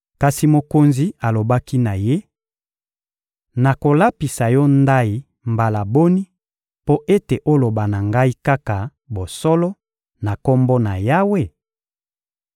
Kasi mokonzi alobaki na ye: — Nakolapisa yo ndayi mbala boni mpo ete oloba na ngai kaka bosolo, na Kombo na Yawe?